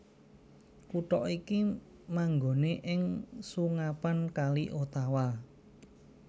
Kutha iki manggoné ing sungapan Kali Ottawa